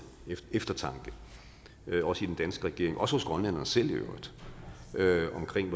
eftertanke også i den danske regering og hos grønlænderne selv i øvrigt